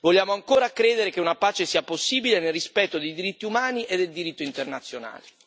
Vogliamo ancora credere che una pace sia possibile, nel rispetto dei diritti umani e del diritto internazionale.